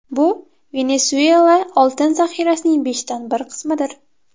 Bu Venesuela oltin zaxirasining beshdan bir qismidir.